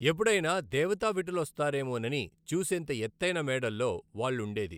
ఎప్పుడైనా దేవతా విటులొస్తారేమో నని చూసేంత ఎ్తౖతెన మేడల్లో వాళ్ళుండేది!